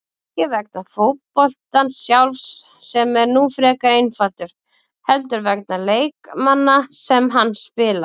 Ekki vegna fótboltans sjálfs, sem er nú frekar einfaldur, heldur vegna leikmanna sem hann spila.